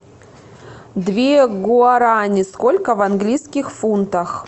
две гуарани сколько в английских фунтах